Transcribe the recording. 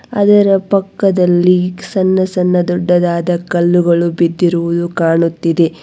ಅದರ ಪಕ್ಕದಲ್ಲಿ ಸಣ್ಣ ಸಣ್ಣ ದೊಡ್ಡದಾದ ಕಲ್ಲುಗಳು ಬಿದ್ದಿರುವುದು ಕಾಣುತ್ತಿದೆ.